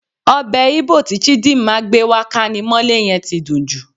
Ọbẹ̀ Íbò tí Chidima gbé wá kámimọ́lé yẹn ti dùn jù.